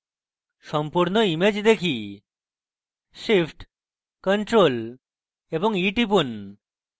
সম্পূর্ণ image দেখি shift + ctrl + e টিপুন